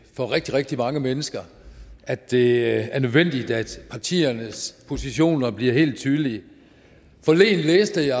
for rigtig rigtig mange mennesker at det er nødvendigt at partiernes positioner bliver helt tydelige forleden læste jeg